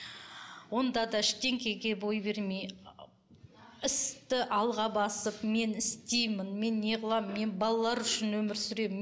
онда да бой бермей істі алға басып мен істеймін мен неғыламын мен балалар үшін өмір сүремін